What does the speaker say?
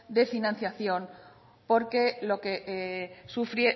de financiación por lo que